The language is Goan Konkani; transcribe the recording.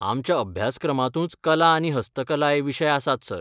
आमच्या अभ्यासक्रमांतूच कला आनी हस्तकला हे विशय आसात, सर.